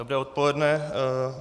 Dobré odpoledne.